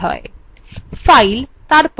file তারপর open click করুন